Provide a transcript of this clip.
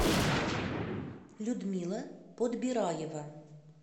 людмила подбираева